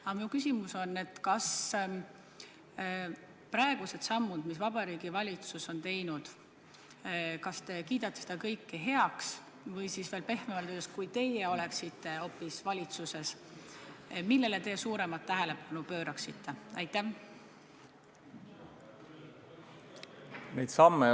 Aga minu küsimus on selline: kas te kiidate praegused sammud, mis Vabariigi Valitsus on teinud, heaks või, pehmemalt öeldes, kui te ise oleksite valitsuses, siis millele te suuremat tähelepanu pööraksite?